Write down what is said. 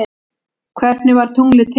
Hvernig varð tunglið til?